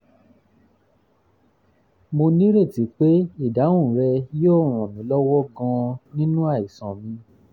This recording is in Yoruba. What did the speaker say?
mo nírètí pé ìdáhùn rẹ yóò ràn mí lọ́wọ́ gan-an nínú àìsàn mi